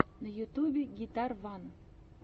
на ютубе гитарван